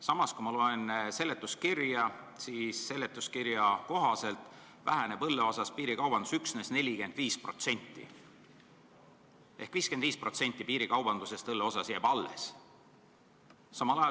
Samas, kui ma loen seletuskirja, siis näen, et selle kohaselt väheneb õlle müügil piirikaubandus üksnes 45% ehk 55% jääb alles.